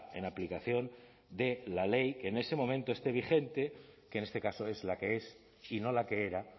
en aplicación de la ley que en ese momento esté vigente que en este caso es la que es y no la que era